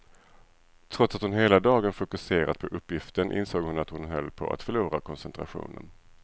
Trots att hon hela dagen fokuserat på uppgiften insåg hon att hon höll på att förlora koncentrationen.